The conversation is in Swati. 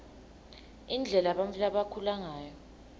indlela bantfu labakhula ngayo